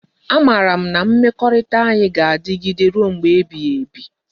A mara m na mmekorita anyi ga adigide ruo mgbe ebighi ebi